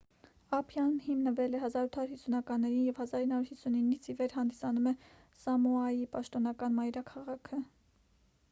ափիան հիմնվել է 1850-ականներին և 1959-ից ի վեր հանդիսանում է սամոայի պաշտոնական մայրաքաղաքը